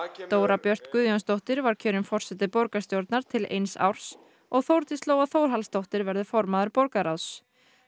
Dóra Björt Guðjónsdóttir var kjörin forseti borgarstjórnar til eins árs og Þórdís Lóa Þórhallsdóttir verður formaður borgarráðs